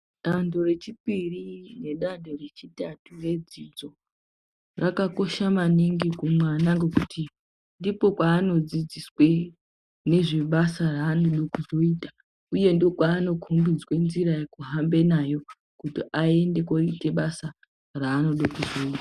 Dande rechipiri nedande rechitatu rwdzidzo rakakosha maningi kumwana ngekuti ndiko kwaanodzidziswe ngezvebasa raanoda kuzoita uye ndiko kwaanokombidzwe nzira yekuhamba nayo kuti aende koita basa raanoda kuzoita .